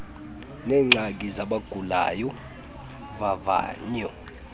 neengxaki zabagulayo vavanyo